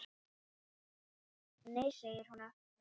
Nei segir hún aftur.